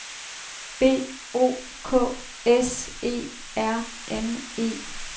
B O K S E R N E